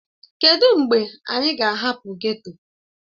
Kedụ mgbe anyị ga-ahapụ geto?